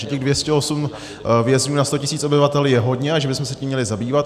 Že těch 208 vězňů na 100 tisíc obyvatel je hodně a že bychom se tím měli zabývat.